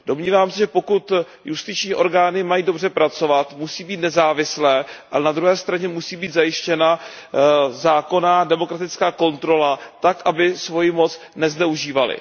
Domnívám se, že pokud justiční orgány mají dobře pracovat, musí být nezávislé, ale na druhé straně musí být zajištěna zákonná demokratická kontrola, tak aby svoji moc nezneužívaly.